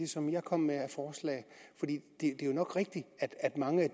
som jeg kom med det er nok rigtigt at mange af